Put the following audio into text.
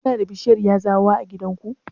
Kuna da bishiyar yazawa a gidanku?